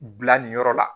Bila nin yɔrɔ la